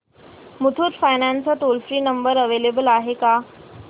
Muthoot finance चा toll free number available आहे का